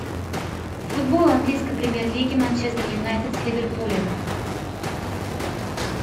футбол английской премьер лиги манчестер юнайтед с ливерпулем